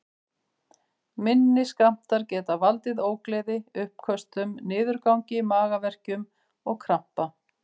Minni skammtar geta valdið ógleði, uppköstum, niðurgangi, magaverkjum og krampa.